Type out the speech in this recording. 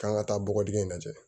K'an ka taa bɔgɔdingɛn in lajɛ